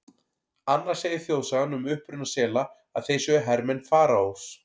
Annars segir þjóðsagan um uppruna sela að þeir séu hermenn Faraós.